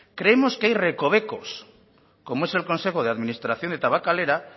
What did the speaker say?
creemos que hay recovecos como es el consejo de administración de tabakalera